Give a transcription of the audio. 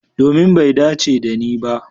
Domin bai dace dani ba.